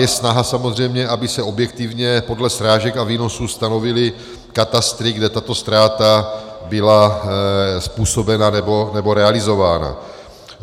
Je snaha samozřejmě, aby se objektivně podle srážek a výnosů stanovily katastry, kde tato ztráta byla způsobena nebo realizována.